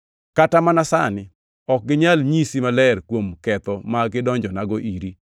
Kata mana sani ok ginyal nyisi maler kuom ketho ma gidonjonago iri.